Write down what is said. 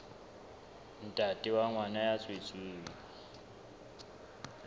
ntate wa ngwana ya tswetsweng